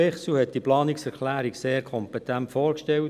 Bichsel hat diese Planungserklärung sehr kompetent vorgestellt.